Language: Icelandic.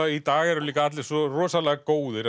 í dag eru líka allir svo rosalega góðir